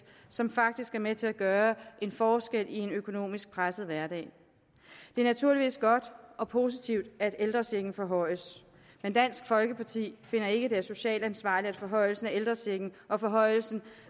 som faktisk er med til at gøre en forskel i en økonomisk presset hverdag det er naturligvis godt og positivt at ældrechecken forhøjes men dansk folkeparti finder ikke at det er socialt ansvarligt at forhøjelsen af ældrechecken og forhøjelsen